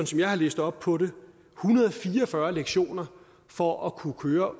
som jeg har læst op på det en hundrede og fire og fyrre lektioner for at kunne køre